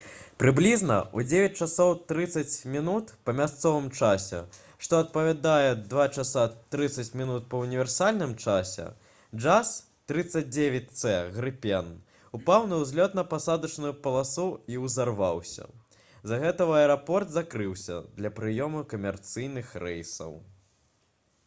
прыблізна ў 9:30 па мясцовым часе што адпавядае 02:30 па ўніверсальным часе jas 39c «грыпен» упаў на ўзлётна-пасадачную паласу і ўзарваўся. з-за гэтага аэрапорт закрыўся для прыёму камерцыйных рэйсаў